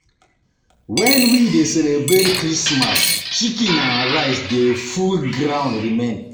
When we dey celebrate Christmas chicken and rice dey full ground remain